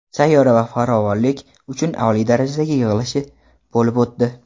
sayyora va farovonlik uchun oliy darajadagi yig‘ilishi bo‘lib o‘tdi.